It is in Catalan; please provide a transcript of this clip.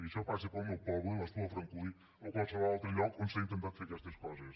i això passa al meu poble l’espluga de francolí o a qualsevol altre lloc on s’han intentat fer aquestes coses